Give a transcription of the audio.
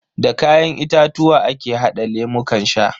Da kayan itatuwa ake hada lemukan sha.